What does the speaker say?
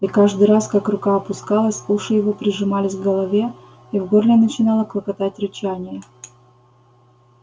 и каждый раз как рука опускалась уши его прижимались к голове и в горле начинало клокотать рычание